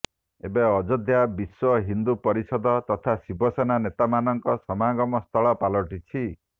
ଏବେ ଅଯୋଧ୍ୟା ବିଶ୍ୱ ହିନ୍ଦୁ ପରିଷଦ ତଥା ଶିବସେନା ନେତାମାନଙ୍କ ସମାଗମସ୍ଥଳ ପାଲଟିଛି